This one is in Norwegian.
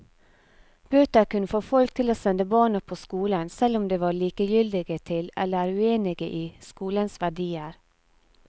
Bøter kunne få folk til å sende barna på skolen, selv om de var likegyldige til eller uenige i skolens verdier.